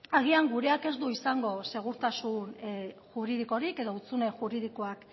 agian gureak ez du izango segurtasun juridikorik edo hutsune juridikoak